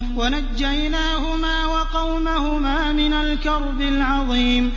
وَنَجَّيْنَاهُمَا وَقَوْمَهُمَا مِنَ الْكَرْبِ الْعَظِيمِ